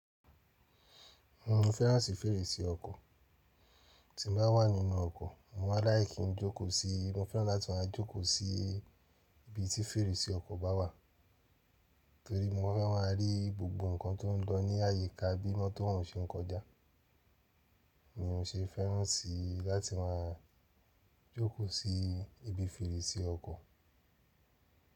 Mo fẹ́ràn sí fèrèsé ọkọ̀, tí mo bá wà nínú ọkọ̀ mo ma n like kí n jókòó sí i, mo fẹ́ràn láti máa jókòó sí ibi tí fèrèsé ọkọ̀ bá wà torí mo fẹ́ máa rí gbogbo ǹkan tò ń lọ ní àyíká bí mọ́tọ̀ ń ṣe ń kọjá ni mo ṣe fẹ́ràn sí láti máa jókòó sí ibi fèrèsé ọkọ̀